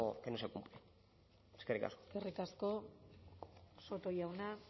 que no se cumple eskerrik asko eskerrik asko soto jauna